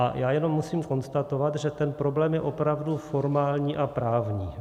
A já jenom musím konstatovat, že ten problém je opravdu formální a právní.